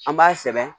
An b'a sɛbɛn